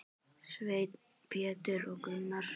Sveinn, Pétur og Gunnar.